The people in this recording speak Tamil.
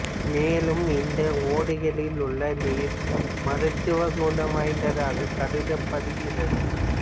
மேலும் இந்த ஓடைகளில் உள்ள நீர் மருத்துவ குணம்வாய்ததாக கருதப்படுகிறது